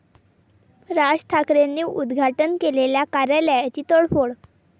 राज ठाकरेंनी उद्घाटन केलेल्या कार्यालयाची तोडफोड